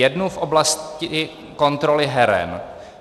Jednu v oblasti kontroly heren.